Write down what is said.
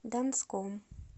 донском